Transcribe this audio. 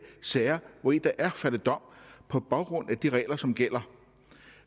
sager hvori der er faldet dom på baggrund af de regler som gælder